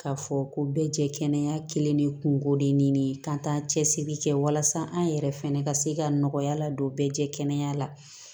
K'a fɔ ko bɛɛ jɛ kɛnɛ de ye kungo de ɲini k'an t'an cɛsiri kɛ walasa an yɛrɛ fɛnɛ ka se ka nɔgɔya la don bɛɛ jɛkana la